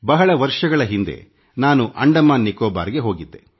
ಬಹಳ ವರ್ಷಗಳ ಹಿಂದೆ ನಾನು ಅಂಡಮಾನ್ ನಿಕೋಬಾರ್ಗೆ ಹೋಗಿದ್ದೆ